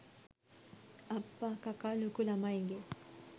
අප්පා කකා ලොකු ළමයිගේ